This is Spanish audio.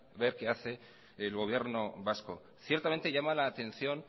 ver qué hace el gobierno vasco ciertamente llama la atención